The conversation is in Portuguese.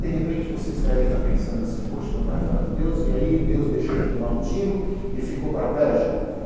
De repente vocês devem estar pensando assim, poxa, meu pai fala de Deus e aí Deus deixou ele tomar um tiro e ficou paraplégico?